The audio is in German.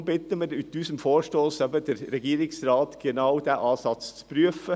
Deshalb bitten wir mit unserem Vorstoss den Regierungsrat, genau diesen Ansatz zu prüfen.